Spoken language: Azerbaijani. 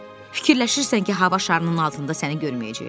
Fikirləşirsən ki, hava şarının altında səni görməyəcəklər?